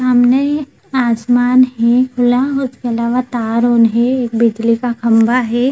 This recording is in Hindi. सामने आसमान है खुला उसके अलावा तार एक बिजली का खम्भा है।